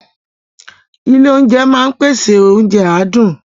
Ilé oúnjẹ máa ń pèsè oúnjẹ adùn